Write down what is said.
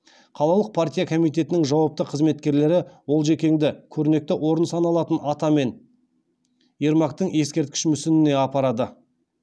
қалалық партия комитетінің жауапты қызметкерлері олжекеңді көрнекті орын саналатын атамен ермактың ескерткіш мүсініне апарады